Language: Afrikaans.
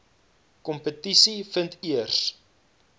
kompetisie vind eers